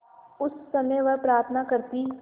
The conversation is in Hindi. उस समय वह प्रार्थना करती